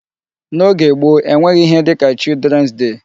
N'oge gboo e nweghị ihe dịka Children's day.